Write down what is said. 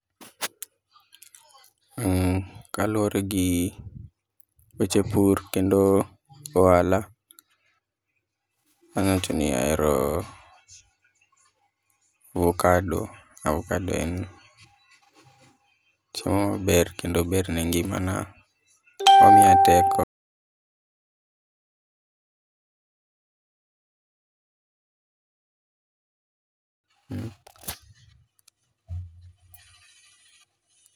Uuh, kaluwore gi weche pur kendo gohala, anyawacho ni ahero avukado. Avukado en cho ber kendo ber ne ngimana, omiya teko.